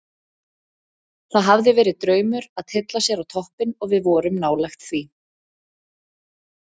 Það hefði verið draumur að tylla sér á toppinn og við vorum nálægt því.